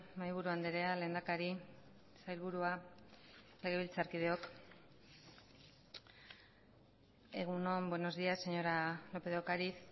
mahaiburu andrea lehendakari sailburua legebiltzarkideok egun on buenos días señora lópez de ocariz